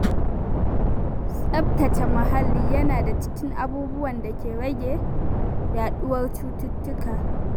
Tsaftace muhalli yana da cikin abubuwan da ke rage yaɗuwar cututtuka.